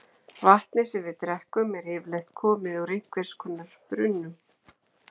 Vatnið sem við drekkum er yfirleitt komið úr einhvers konar brunnum.